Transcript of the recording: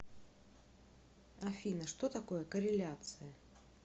афина что такое корреляция